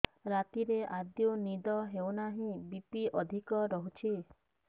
ରାତିରେ ଆଦୌ ନିଦ ହେଉ ନାହିଁ ବି.ପି ଅଧିକ ରହୁଛି